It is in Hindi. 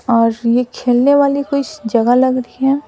और ये खेलने वाली कुछ जगह लग रही है।